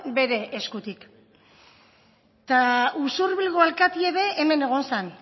bere eskutik eta usurbilgo alkatie be hemen egon zan